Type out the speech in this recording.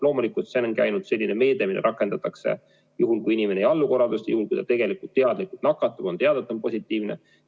Loomulikult see on selline meede, mida rakendatakse juhul, kui inimene ei allu korraldustele, juhul kui ta tegelikult teadlikult nakatab, kui on teada, et ta on positiivne.